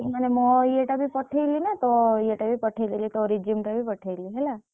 ମାନେ ମୋ ଇଏଟାବି ପଠେଇଲି ନା ତୋ ଇଏଟା ବି ପଠେଇଦେଲି ତୋ resume ଟା ବି ପଠେଇଲି ହେଲା!